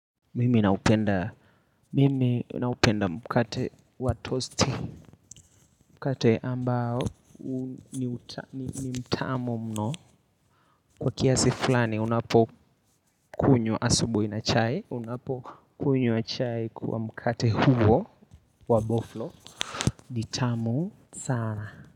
Mimi naupenda mkate wa toasty mkate ambao ni mtamu mno. Kwa kiasi fulani unapokunywa asubuhi na chai unapokunywa chai kwa mkate huo wa boflo ni tamu sana.